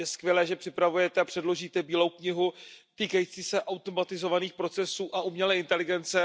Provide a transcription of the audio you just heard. Je skvělé, že připravujete a předložíte Bílou knihu týkající se automatizovaných procesů a umělé inteligence.